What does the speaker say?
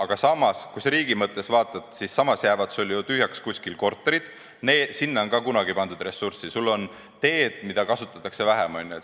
Aga samas, kui sa riigi mõttes vaatad, siis jäävad sul ju kuskil samal ajal tühjaks korterid ja sinna on ka kunagi pandud ressurssi, sul on teed, mida kasutatakse vähem.